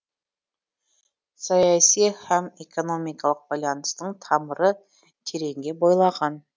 саяси һәм экономикалық байланыстың тамыры тереңге бойлаған